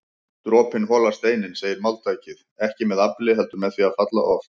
Dropinn holar steininn segir máltækið, ekki með afli heldur með því að falla oft